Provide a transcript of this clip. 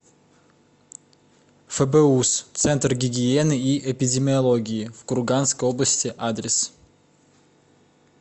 фбуз центр гигиены и эпидемиологии в курганской области адрес